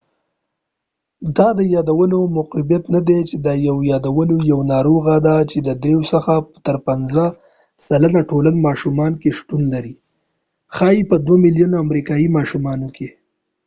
دا د یادولو معیوبیت نه دي دا یو د یادولو یوه ناروغی ده چې د درېو څخه تر پنڅه سلنه ټول ماشومانو کې شتون لري ښایې په دوه ملیونه امریکایې ماشومانو کې